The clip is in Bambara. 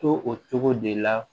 To o cogo de la